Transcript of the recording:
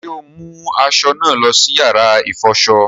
Ṣe o mu aṣọ naa lọ sí yàrá ifọṣọ?